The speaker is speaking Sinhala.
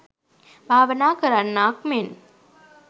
භාවනා කරන්නාක් මෙන්